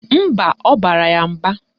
Mba, ọ bara ya mba.